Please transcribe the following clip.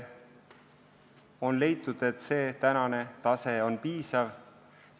On leitud, et praegune reservi tase on piisav.